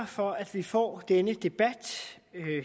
for at vi får denne debat